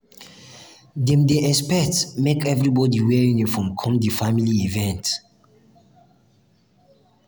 dem dey expect make everybodi wear uniform come di family event.